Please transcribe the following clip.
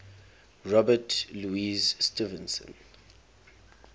robert louis stevenson